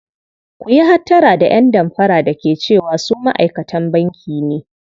Ku yi hattara da ƴan damfara da ke cewa su ma'aikatan banki ne.